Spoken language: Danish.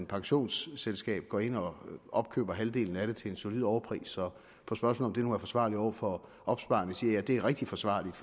pensionsselskab går ind og opkøber halvdelen af det til en solid overpris og på spørgsmålet nu er forsvarligt over for opsparerne sige at det er rigtig forsvarligt